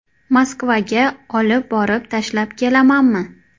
Moskvaga olib borib tashlab kelamanmi?